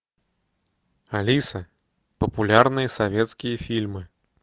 алиса популярные советские фильмы